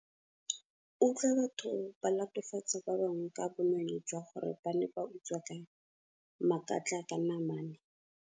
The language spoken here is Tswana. Utlwa batho ba latofatsa ba bangwe ka bonweenwee jwa gore ba ne ba utswa ka makatlanamane.